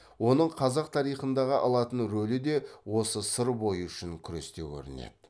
оның қазақ тарихындағы алатын рөлі де осы сыр бойы үшін күресте көрінеді